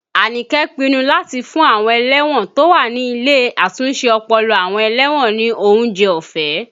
Anike pinnu láti fún àwọn ẹlẹ́wọ̀n tó wà ní ilé àtúnṣe ọpọlọ àwọn ẹlẹ́wọ̀n ní oúnjẹ ọ̀fẹ́